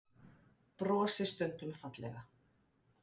Brosi stundum fallega.